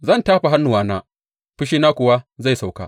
Zan tafa hannuwana, fushina kuwa zai sauka.